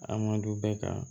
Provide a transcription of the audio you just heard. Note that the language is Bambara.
A man d'u bɛɛ kan